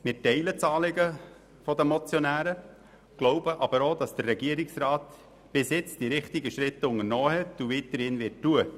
Wir teilen das Anliegen der Motionäre, glauben aber auch, dass der Regierungsrat bisher die richtigen Schritte unternommen hat und dies auch weiterhin tun wird.